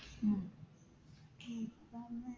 ഉം